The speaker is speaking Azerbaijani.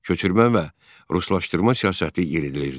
Köçürmə və ruslaşdırma siyasəti yeridilirdi.